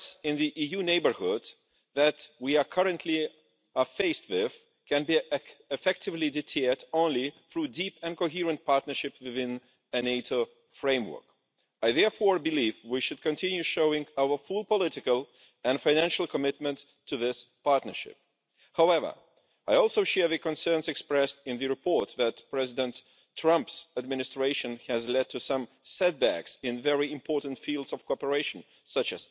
Bilateral horse trading won't work, and nor will a new, narrow EU US deal on tariffs and quotas. MEPs dismissed attempts to conclude a Transatlantic Trade and Investment Partnership lite' in 2016 and I am pleased that today's report has reiterated this firm position, but it's worth noting, as we're about to leave the European Parliament, how the atmosphere in our EU US relations has changed in my time in politics. Much